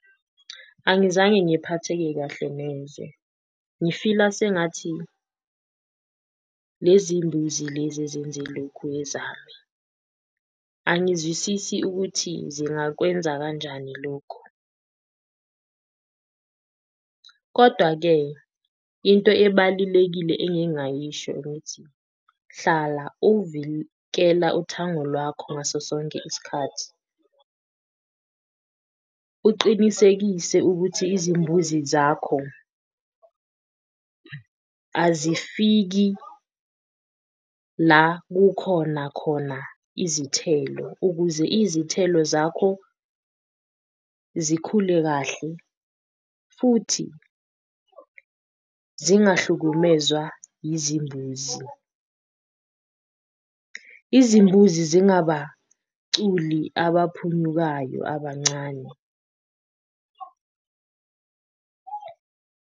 Angizange ngiphatheke kahle neze ngifila sengathi lezi mbuzi lezi ezenze lokhu ezami, angizwisisi ukuthi zingakwenza kanjani lokhu kodwa-ke into ebalulekile engingayisho ngithi hlala uthango lwakho ngaso sonke isikhathi. Uqinisekise ukuthi izimbuzi zakho azifiki la kukhona khona izithelo, ukuze izithelo zakho zikhule kahle futhi zingahlukumezwa izimbuzi, izimbuzi zingabaculi abaphunyukayo abancane.